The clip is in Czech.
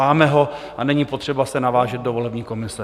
Máme ho a není potřeba se navážet do volební komise.